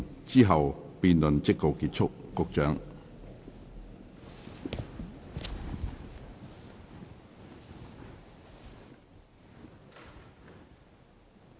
之後辯論即告結束。